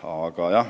Aga